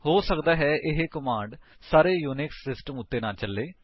ਹੋ ਸਕਦਾ ਹੈ ਇਹ ਕਮਾਂਡ ਸਾਰੇ ਯੂਨਿਕਸ ਸਿਸਟਮਸ ਉੱਤੇ ਨਾ ਚੱਲੇ